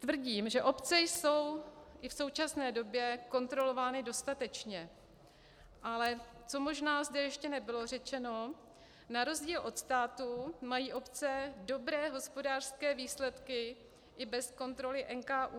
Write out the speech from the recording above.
Tvrdím, že obce jsou i v současné době kontrolovány dostatečně, ale co možná zde ještě nebylo řečeno, na rozdíl od státu mají obce dobré hospodářské výsledky i bez kontroly NKÚ.